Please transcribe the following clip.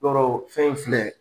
Dɔrɔ fɛn in filɛ